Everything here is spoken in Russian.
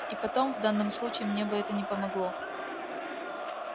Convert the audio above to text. и потом в данном случае мне бы это не помогло